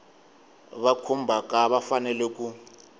va khumbhaka va fanele ku